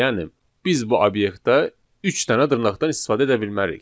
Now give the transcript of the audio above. Yəni biz bu obyektə üç dənə dırnaqdan istifadə edə bilmərik.